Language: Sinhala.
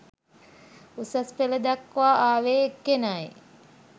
උසස් පෙළ දක්වා ආවේ එක්කෙනයි